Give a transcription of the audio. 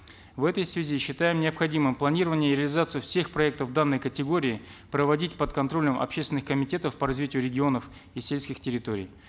в этой связи считаем необходимым планирование и реализацию всех проектов данной категории проводить под контролем общественных комитетов по развитию регионово и сельских территорий